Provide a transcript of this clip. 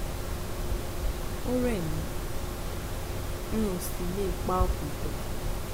ó rẹ̀ mí n ò sì le è pa ọkàn pọ